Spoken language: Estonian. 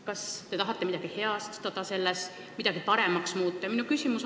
Kas te tahate sellega midagi heastada, midagi paremaks muuta?